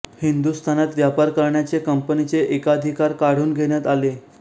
हिंदुस्थानात व्यापार करण्याचे कंपनीचे एकाधिकार काढून घेण्यात आले